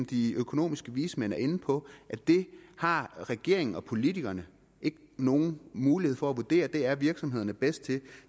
de økonomiske vismænd er inde på det har regeringen og politikerne ikke nogen mulighed for at vurdere det er virksomhederne bedst til